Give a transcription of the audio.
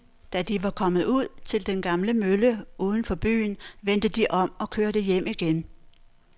Da de var kommet ud til den gamle mølle uden for byen, vendte de om og kørte hjem igen.